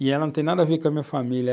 E ela não tem nada a ver com a minha família.